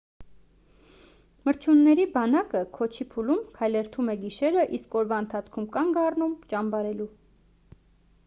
մրջյունների բանակը քոչի փուլում քայլերթում է գիշերը իսկ օրվա ընթացքում կանգ առնում ճամբարելու